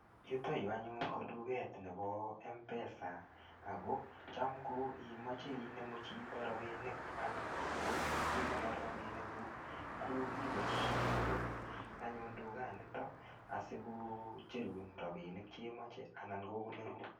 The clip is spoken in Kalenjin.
Yuton yuu anyun ko tuket nebo m-pesa ako Cham ko imoche inemu chito rabinik anan ko ikonor rabinik kuk ko iboishen akot anyun tukanitom asikocherun rabishek chemoche anan ko konorun.